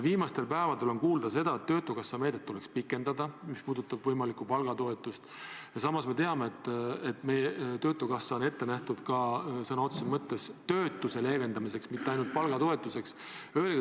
Viimastel päevadel on kuulda, et töötukassa meedet tuleks pikendada – see puudutab võimalikku palgatoetust –, aga samas me teame, et töötukassa raha on ette nähtud sõna otseses mõttes töötuse leevendamiseks, mitte ainult palgatoetuseks.